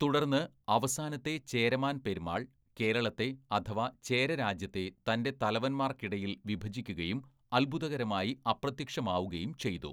"തുടർന്ന് അവസാനത്തെ ചേരമാൻ പെരുമാൾ കേരളത്തെ, അഥവാ ചേരരാജ്യത്തെ തൻ്റെ തലവന്മാർക്കിടയിൽ വിഭജിക്കുകയും അത്ഭുതകരമായി അപ്രത്യക്ഷമാവുകയും ചെയ്തു."